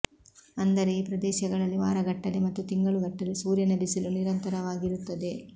ಅಂದರೆ ಈ ಪ್ರದೇಶಗಳಲ್ಲಿ ವಾರಗಟ್ಟಲೆ ಮತ್ತು ತಿಂಗಳುಗಟ್ಟಲೆ ಸೂರ್ಯನ ಬಿಸಿಲು ನಿರಂತರವಾಗಿರುತ್ತದೆ